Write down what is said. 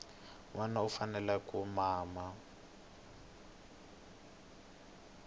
nwana u fanele ku mama